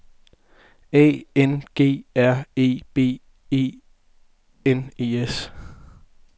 A N G R E B E N E S